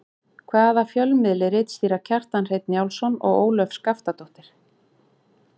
Hvaða fjölmiðli ritstýra Kjartan Hreinn Njálsson og Ólöf Skaftadóttir?